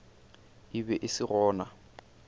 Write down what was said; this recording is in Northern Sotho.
e be e se gona